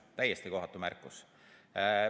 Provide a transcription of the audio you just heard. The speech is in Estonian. Täiesti kohatu märkus!